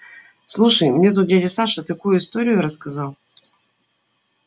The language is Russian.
слушай мне тут дядя саша такую историю рассказал